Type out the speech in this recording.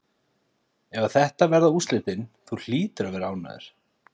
Ef að þetta verða úrslitin, þú hlýtur að vera ánægður?